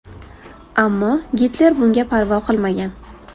Ammo Gitler bunga parvo qilmagan.